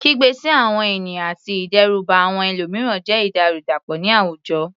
Kígbe sí àwọn ènìyàn àti ìdẹ́rùbà àwọn ẹlòmíràn jẹ́ ìwà ìdàrúdàpọ̀ ní àwùjọ.